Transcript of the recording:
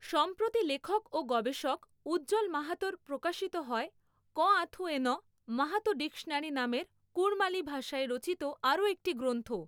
সম্প্রতি লেখক ও গবেষক উজ্জল মাহাতোর, প্রকাশিত হয় কঁআথুয়েঁনঃ মাহাতো ডিকশনারি নামের কুড়মালি ভাষায় রচিত আরো একটি গ্রন্থ।